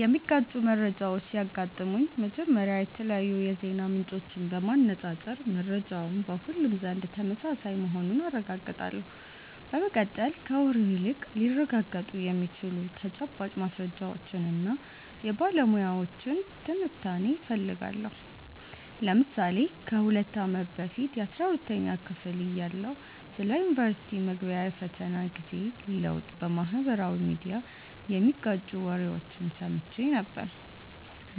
የሚጋጩ መረጃዎች ሲያጋጥሙኝ፥ መጀመሪያ የተለያዩ የዜና ምንጮችን በማነፃፀር መረጃው በሁሉም ዘንድ ተመሳሳይ መሆኑን አረጋግጣለሁ። በመቀጠል፥ ከወሬ ይልቅ ሊረጋገጡ የሚችሉ ተጨባጭ ማስረጃዎችንና የባለሙያዎችን ትንታኔ እፈልጋለሁ። ለምሳሌ ከ2 አመት በፊት 12ኛ ክፍል እያለሁ ስለ ዩኒቨርስቲ መግቢያ የፈተና ጊዜ ለውጥ በማኅበራዊ ሚዲያ የሚጋጩ ወሬዎችን ሰምቼ ነበር፤